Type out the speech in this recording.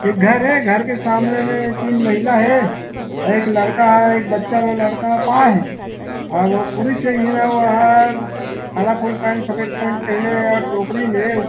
एक घर हे घर के सामने में तीन महिला हे और एक लड़का एक बच्चा हो लड़का पाए हे अउ पुरुष एक झन ह काला कोर्ट सफ़ेद पेंट पहने हे और टोकरी में--